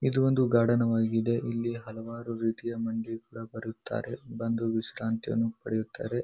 ಇದು ಒಂದು ಗಾರ್ಡನ್ ವಾಗಿದೆ. ಇಲ್ಲಿ ಹಲವಾರು ರೀತಿಯ ಮಂದಿ ಕೂಡ ಬರುತ್ತಾರೆ. ಬಂದು ವಿಶ್ರಾಂತಿಯನ್ನು ಪಡೆಯುತ್ತಾರೆ.